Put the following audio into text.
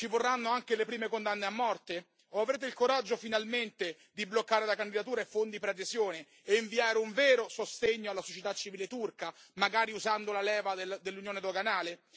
Ci vorranno anche le prime condanne a morte o avrete il coraggio finalmente di bloccare la candidatura e fondi preadesione e inviare un vero sostegno alla società civile turca, magari usando la leva dell'unione doganale?